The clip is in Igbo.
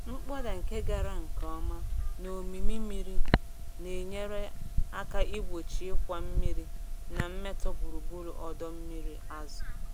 Mkpọda nke gara nke ọma na ómímí mmiri na-enyere aka igbochi ịkwa mmiri na mmetọ gburugburu ọdọ mmiri azụ̀.